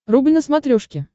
рубль на смотрешке